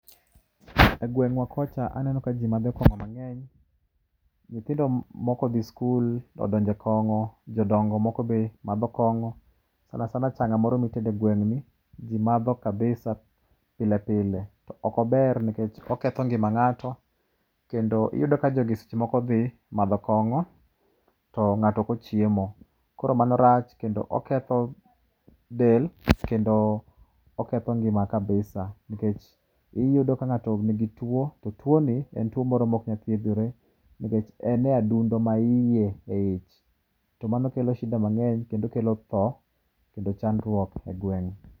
Egweng'wa kocha aneno ka ji madho kong'o mang'eny. Nyithindo maok odhi sikul odonjo e kong'o, jodongo moko be madho kong'o. Sana sana chang'a moro mitede e gweng'ni ji madho [cs kabisa pile pile. Ok ober nikech oketho ngima ng'ato, to iyudo ka jogi seche moko dhi madho kong'o to ng'ato ok ochiemo. Koro mano rach kendo oketho del, kendo oketho ngima kabisa, nikech iyudo ka ng'ato nigi tuo to tuoni, en tuo moro maok nyal thiedhore nikech en e adundo maiye eich, to mano kelo shida mang'eny kendo kelo tho kend chandruok egweng'.